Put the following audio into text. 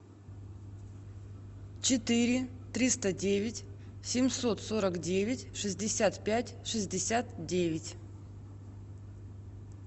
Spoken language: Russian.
четыре триста девять семьсот сорок девять шестьдесят пять шестьдесят девять